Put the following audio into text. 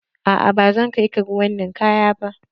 A'a ba zan kai ka ruwan ninkaya ba.